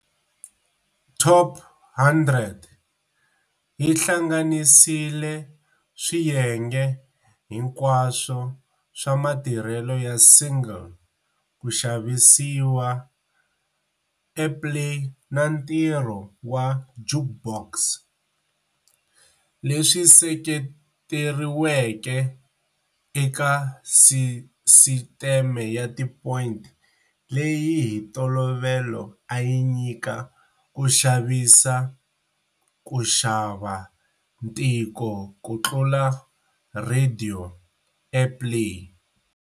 "Top 100" yi hlanganisile swiyenge hinkwaswo swa matirhelo ya single, ku xavisiwa, airplay na ntirho wa jukebox, leswi seketeriweke eka sisiteme ya ti point leyi hi ntolovelo ayi nyika ku xavisiwa, ku xava, ntiko kutlula radio airplay.